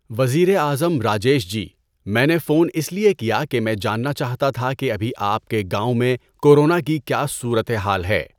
وزیر اعظم راجیش جی، میں نے فون اِس لئے کیا کہ میں جاننا چاہتا تھا کہ ابھی آپ کے گاؤں میں کورونا کی کیا صورتِ حال ہے؟